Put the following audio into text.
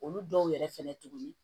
Olu dɔw yɛrɛ fɛnɛ tuguni